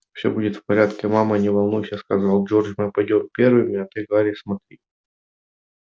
всё будет в порядке мама не волнуйся сказал джордж мы пойдём первыми а ты гарри смотри